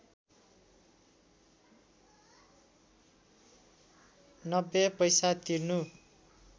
९० पैसा तिर्नु